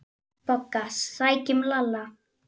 BOGGA: Sækjum Lalla!